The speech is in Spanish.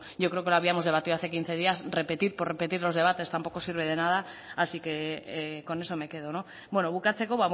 yo creo que lo habíamos debatido hace quince días repetir por repetir los debates tampoco sirve de nada así que con eso me quedo bukatzeko